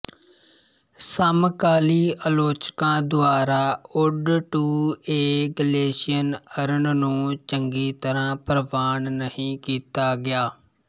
ਸਮਕਾਲੀ ਆਲੋਚਕਾਂ ਦੁਆਰਾ ode to a Grecian urn ਨੂੰ ਚੰਗੀ ਤਰ੍ਹਾਂ ਪ੍ਰਵਾਨ ਨਹੀਂ ਕੀਤਾ ਗਿਆ